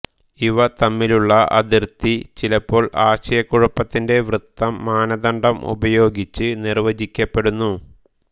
ഇവ തമ്മിലുള്ള അതിർത്തി ചിലപ്പോൾ ആശയക്കുഴപ്പത്തിന്റെ വൃത്തം മാനദണ്ഡം ഉപയോഗിച്ച് നിർവചിക്കപ്പെടുന്നു